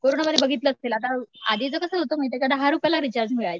कोरोनामध्ये बघितलं असशील आता आधीच कसं होतं माहितीये का दहा रुपयेला रिचार्ज मिळायचा.